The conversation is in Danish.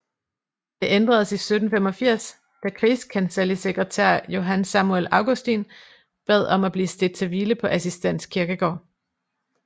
Det ændredes i 1785 da krigskancellisekretær Johan Samuel Augustin bad om at blive stedt til hvile på Assistens Kirkegård